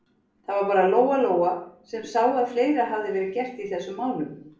Það var bara Lóa-Lóa sem sá að fleira hafði verið gert í þessum málum.